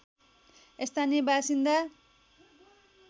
स्थानीय बासिन्दा